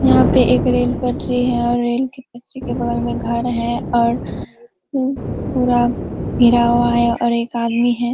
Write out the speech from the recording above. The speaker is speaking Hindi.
यहाँ पे एक रेल पटरी है और रेल के पटरी के बगल में घर है और पू पूरा गिरा हुआ है और एक आदमी है।